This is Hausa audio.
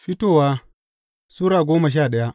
Fitowa Sura goma sha daya